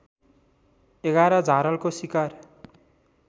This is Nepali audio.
११ झारलको सिकार